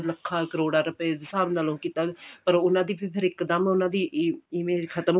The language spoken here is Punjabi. ਲੱਖਾਂ ਕਰੋੜਾ ਰੁਪਏ ਦੇ ਹਿਸਾਬ ਨਾਲ ਕਿੱਦਾਂ ਪਰ ਉਹਨਾ ਦੀ ਫਿਰ ਇੱਕ ਦਮ ਉਹਨਾ ਦੀ image ਖਤਮ